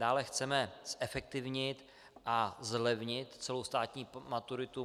Dále chceme zefektivnit a zlevnit celou státní maturitu.